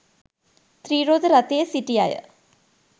ත්‍රිරෝද රථයේ සිටි අය